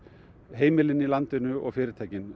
heimilin í landinu og fyrirtækin